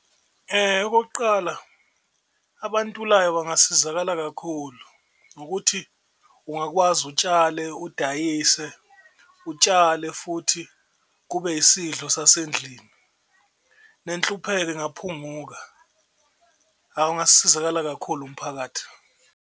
Okokuqala, abantulayo bangasizakala kakhulu ngokuthi ungakwazi utshale, udayise, utshale futhi kube isidlo sasendlini, nenhlupheko ingaphunguka, ungasizakala kakhulu umphakathi.